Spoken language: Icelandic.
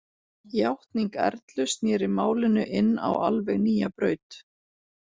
Játning Erlu sneri málinu inn á alveg nýja braut.